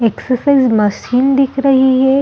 Exercise machine दिख रही हैं।